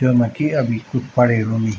जैमा कि अभी कुछ पडेणु नी।